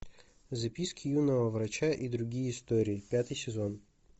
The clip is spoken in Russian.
записки юного врача и другие истории пятый сезон